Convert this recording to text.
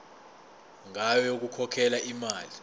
ngayo yokukhokhela imali